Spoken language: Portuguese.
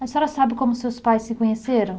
A senhora sabe como seus pais se conheceram?